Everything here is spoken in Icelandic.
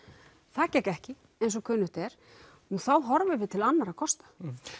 það gekk ekki eins og kunnugt er og þá horfum við til annarra kosta